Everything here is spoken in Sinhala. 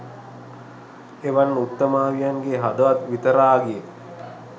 එවන් උත්තමාවියන්ගේ හදවත් විතරාගිය